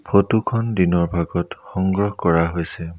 Photo খন দিনৰ ভাগত সংগ্ৰহ কৰা হৈছে।